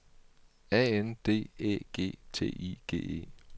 A N D Æ G T I G E